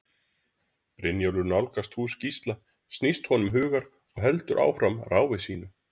Brynjólfur nálgast hús Gísla snýst honum hugur og heldur áfram ráfi sínu.